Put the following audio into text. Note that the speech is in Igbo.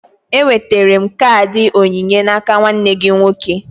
Enwetara m kaadị onyinye n'aka nwanne gị nwoke